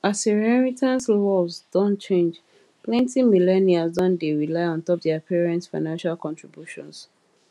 as inheritance laws don change plenty millennials don dey rely ontop their parents financial contributions